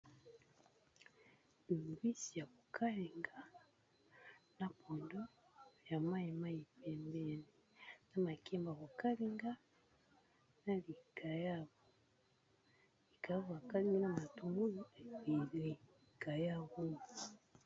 Oyo mbisi yako kalinga na pondo ya mayi mayi pembeni, na makemba yako kalinga, na likayabo yoko kalinga na matugulu bikalimga.